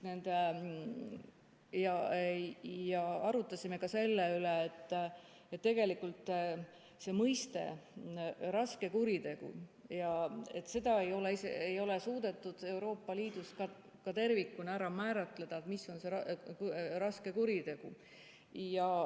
Ja arutasime ka selle üle, et tegelikult mõistet "raske kuritegu" ei ole suudetud ka Euroopa Liidus tervikuna ära määratleda.